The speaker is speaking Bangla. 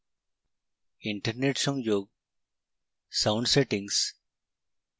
internet সংযোগ sound সেটিংস